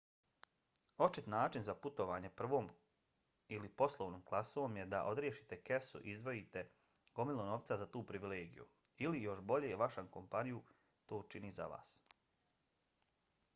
očit način za putovanje prvom ili poslovnom klasom je da odriješite kesu i izdvojite gomilu novca za tu privilegiju ili još bolje vaša kompaniju to učini za vas